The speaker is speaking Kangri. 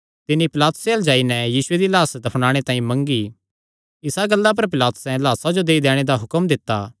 तिन्नी पिलातुसे अल्ल जाई नैं यीशु दी लाह्स मंगी इसा गल्ला पर पिलातुसैं लाह्सा जो देई दैणे दा हुक्म दित्ता